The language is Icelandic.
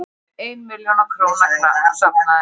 Ein milljón króna safnaðist